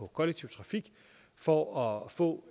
kollektiv trafik for at få